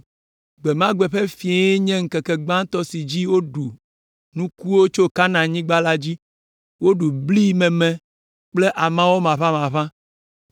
Gbe ma gbe ƒe fɔŋlie nye ŋkeke gbãtɔ si dzi woɖu nukuwo tso Kanaanyigba la dzi; woɖu bli meme kple amɔ maʋamaʋã.